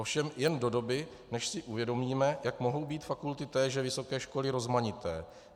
Ovšem jen do doby, než si uvědomíme, jak mohou být fakulty téže vysoké školy rozmanité.